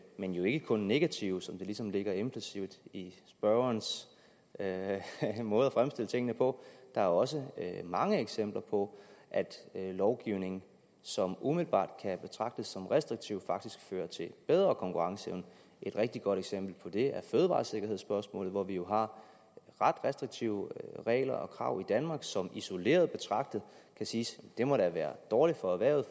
men jo ikke kun negative som det ligesom ligger implicit i spørgerens måde at fremstille tingene på der er også mange eksempler på at lovgivning som umiddelbart kan betragtes som restriktiv faktisk fører til bedre konkurrenceevne et rigtig godt eksempel på det er fødevaresikkerhedsspørgsmålet hvor vi jo har ret restriktive regler og krav i danmark som isoleret betragtet kan siges at være dårlige for erhvervet